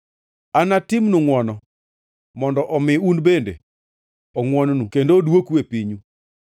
Anatimnu ngʼwono mondo omi en bende ongʼwonnu kendo odwoku e pinyu.’